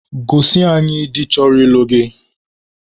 Gosi anyị di chọrọ ịlụ gị!